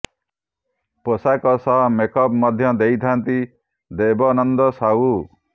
ପୋଷାକ ସହ makeup ମଧ୍ୟ ଦେଇଥାନ୍ତି ଦେବନନ୍ଦ ସାହୁ